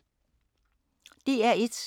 DR1